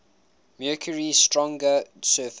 mercury's stronger surface